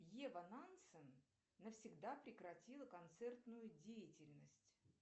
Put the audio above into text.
ева нансен навсегда прекратила концертную деятельность